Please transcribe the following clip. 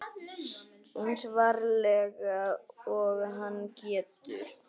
Eins varlega og hann getur.